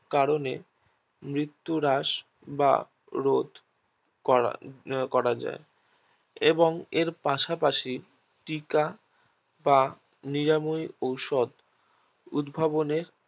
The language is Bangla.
কারণে মৃত্যু রাশ বা রোধ করা করা যায় এবং এর পাশাপাশি টিকা বা নিরামহী ঔষধ উদ্ভাবনে